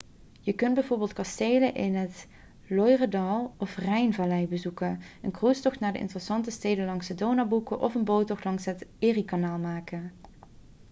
je kunt bijvoorbeeld kastelen in het loiredal of de rijnvallei bezoeken een cruisetocht naar de interessante steden langs de donau boeken of een boottocht langs het eriekanaal maken